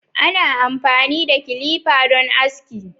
Ana amfani da kilifa dan aski